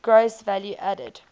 gross value added